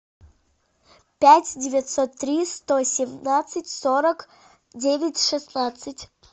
пять девятьсот три сто семнадцать сорок девять шестнадцать